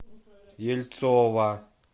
ельцова